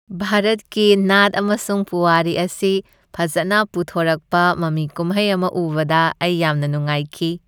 ꯚꯥꯔꯠꯀꯤ ꯅꯥꯠ ꯑꯃꯁꯨꯡ ꯄꯨꯋꯥꯔꯤ ꯑꯁꯤ ꯐꯖꯅ ꯄꯨꯊꯣꯔꯛꯄ ꯃꯃꯤ ꯀꯨꯝꯍꯩ ꯑꯃ ꯎꯕꯗ ꯑꯩ ꯌꯥꯝꯅ ꯅꯨꯡꯉꯥꯏꯈꯤ꯫